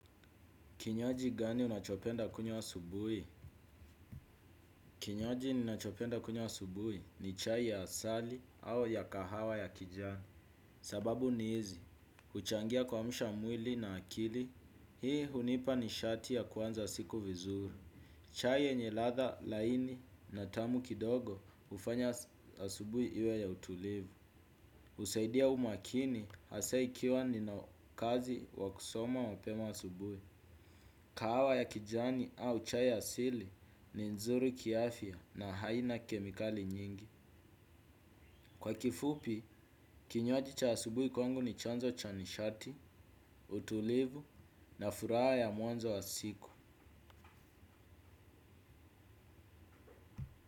Kinywaji gani unachopenda kunywa asubuhi? Kinywaji ninachopenda kunywa asubuhi ni chai ya asali au ya kahawa ya kijani. Sababu ni hizi, uchangia kuamsha mwili na akili, hii hunipa ni shati ya kuanza siku vizuri. Chai yenye ladha laini na tamu kidogo hufanya asubuhi iwe ya utulivu. Husaidia umakini, hasa ikiwa nina kazi ya kusoma mapema asubuhi. Kahawa ya kijani au chai asili ni nzuri kiafya na haina kemikali nyingi. Kwa kifupi, kinywaji cha asubuhi kwangu ni chanzo cha nishati, utulivu na furaha ya mwanzo wa siku.